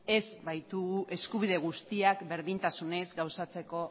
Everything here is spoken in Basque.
ez baitugu eskubide guztiak berdintasunez gauzatzeko